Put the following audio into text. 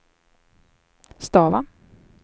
stava